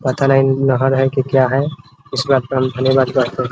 पता नही नहर है की क्या है । इस बात पर हम धन्यवाद करते हैं ।